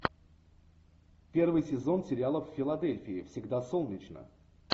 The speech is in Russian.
первый сезон сериала в филадельфии всегда солнечно